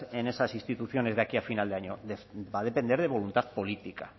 en esas instituciones de aquí a final de año va a depender de voluntad política